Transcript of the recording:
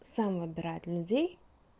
сам набирает людей